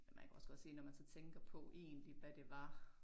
Man kunne også godt se når man så tænker på egentlig hvad det var